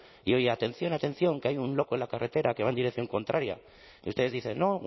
y oye atención atención que hay un loco en la carretera que va en dirección contraria y ustedes dicen no